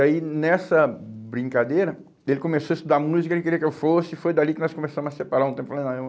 E aí, nessa brincadeira, ele começou a estudar música, ele queria que eu fosse, e foi dali que nós começamos a separar um tempo